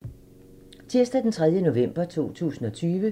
Tirsdag d. 3. november 2020